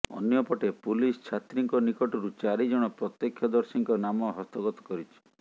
ଅନ୍ୟପଟେ ପୁଲିସ ଛାତ୍ରୀଙ୍କ ନିକଟରୁ ଚାରି ଜଣ ପ୍ରତ୍ୟେକ୍ଷଦର୍ଶୀଙ୍କ ନାମ ହସ୍ତଗତ କରିଛି